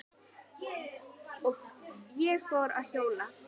Og ég fór að hjóla.